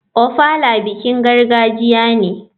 Ofala bikin gargajiya ne.